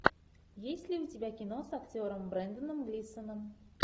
есть ли у тебя кино с актером бренданом глисоном